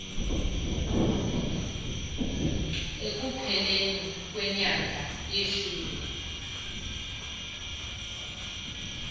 ekupheleni kwenyanga yeshumi